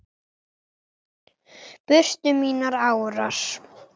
brutu mínar árar